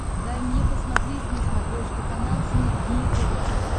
дай мне посмотреть на смотрешке канал синергия тв